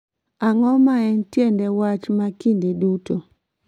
Ang�o ma en tiende wach ma kinde duto?